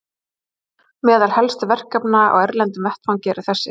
Meðal helstu verkefna á erlendum vettvangi eru þessi